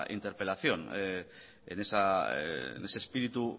interpelación en ese espíritu